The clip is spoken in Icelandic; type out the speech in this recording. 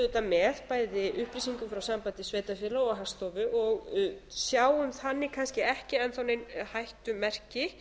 auðvitað með bæði upplýsingum frá sambandi sveitarfélaga og hagstofu og sjáum þannig kannski ekki enn þá nein hættumerki